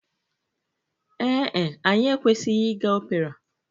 Ee e, anyị ekwesịghị ịga opera.